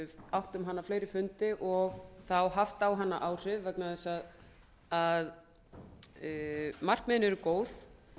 átt um hana fleiri fundi og þá haft á hana áhrif vegna þess að markmiðin eru góð